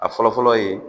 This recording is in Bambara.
A fɔlɔ fɔlɔ ye